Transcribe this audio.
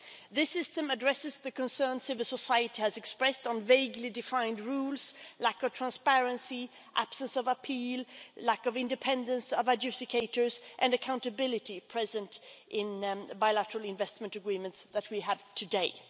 This system addresses the concerns civil society has expressed about vaguely defined rules, lack of transparency, absence of appeal, lack of independence of adjudicators and lack of accountability in bilateral investment agreements that we have today.